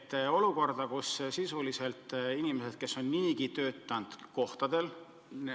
Ma pean silmas olukorda, kus sisuliselt inimesed on niigi töötanud nn kohtadel.